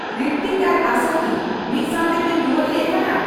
ᱨᱤᱛᱛᱤᱠ ᱟᱨ ᱟᱥᱟ ᱠᱤ ᱢᱤᱫ ᱥᱟᱶᱛᱮ ᱠᱤᱱ ᱨᱩᱣᱟᱹᱲ ᱦᱮᱡ ᱟᱠᱟᱱᱟ